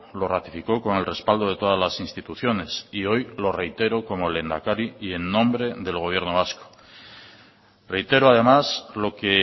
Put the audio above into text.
lo ratificó con el respaldo de todas las instituciones y hoy lo reitero como lehendakari y en nombre del gobierno vasco reitero además lo que